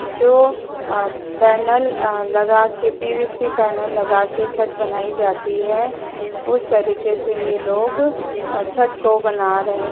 जो अ पैनल लगाके पीवीसी पैनल लगाके छत बनाई जाती है उस तरीक़े से यह लोग छत को बना रहे--